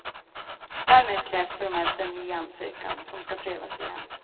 Därmed krävs formellt en ny ansökan, som ska prövas igen.